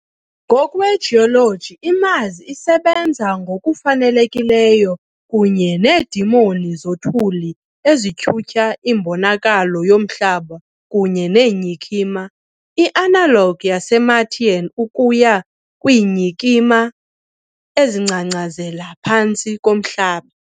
Ngokwejoloji, iMars isebenza ngokufanelekileyo, kunye needemoni zothuli ezityhutyha imbonakalo yomhlaba kunye neenyikima, i-analog yaseMartian ukuya kwiinyikima ezingcangcazela ngaphantsi komhlaba.